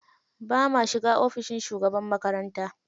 Ba ma shiga ofishin shugaban makaranta.